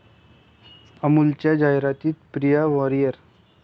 अमुलच्या जाहिरातीत प्रिया वारियर!